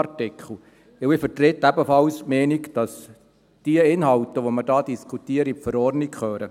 Denn ich vertrete ebenfalls die Meinung, dass diese Inhalte, die wir hier diskutieren, in die Verordnung gehören.